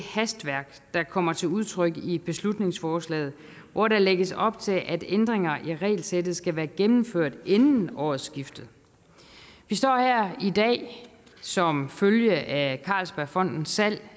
hastværk der kommer til udtryk i beslutningsforslaget hvor der lægges op til at ændringer i regelsættet skal være gennemført inden årsskiftet vi står her i dag som følge af carlsbergfondets salg